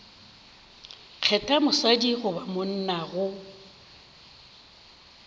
kgetha mosadi goba monna go